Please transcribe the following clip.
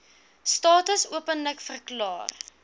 status openlik verklaar